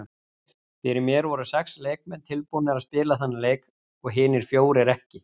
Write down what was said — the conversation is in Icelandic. Fyrir mér voru sex leikmenn tilbúnir að spila þennan leik og hinir fjórir ekki.